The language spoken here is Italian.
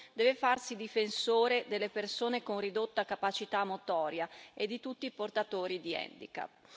deve farsi difensore delle persone con ridotta capacità motoria e di tutti i portatori di handicap.